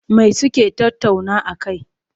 Me suke tattauna a kai?